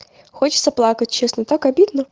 хочется плакать честно так обидно